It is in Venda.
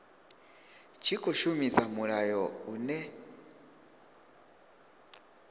tshi khou shumisa mulayo une